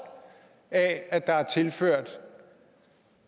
af at der er tilført en